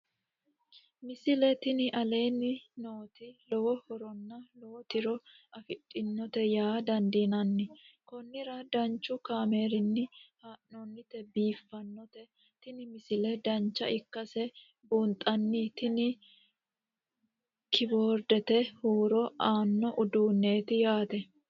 misile tini aleenni nooti lowo horonna lowo tiro afidhinote yaa dandiinanni konnira danchu kaameerinni haa'noonnite biiffannote tini misile dancha ikkase buunxanni tini kiboordete huuro aanno uduunneeti yaate